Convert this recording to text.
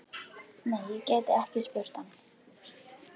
Nei, ég gæti ekki spurt hann.